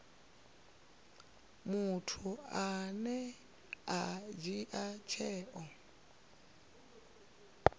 muthu ane a dzhia tsheo